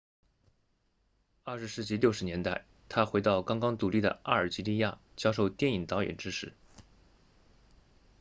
20世纪60年代他回到刚刚独立的阿尔及利亚教授电影导演知识